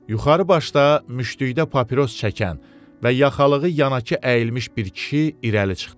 Yuxarı başda müştükdə papiros çəkən və yaxalığı yanakı əyilmiş bir kişi irəli çıxdı.